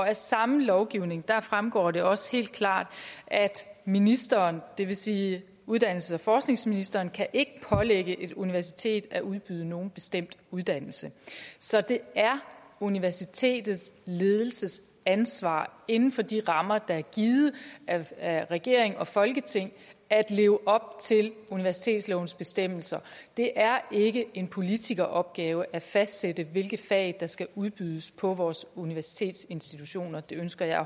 af samme lovgivning fremgår det også helt klart at ministeren det vil sige uddannelses og forskningsministeren ikke kan pålægge et universitet at udbyde nogen bestemt uddannelse så det er universitetets ledelsesansvar inden for de rammer der er givet af regering og folketing at leve op til universitetslovens bestemmelser det er ikke en politikeropgave at fastsætte hvilke fag der skal udbydes på vores universiteters institutioner det ønsker jeg